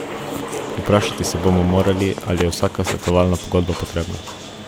Vprašati se bomo morali, ali je vsaka svetovalna pogodba potrebna?